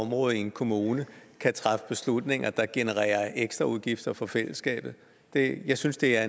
område i en kommune kan træffe beslutninger der genererer ekstraudgifter for fællesskabet jeg synes det er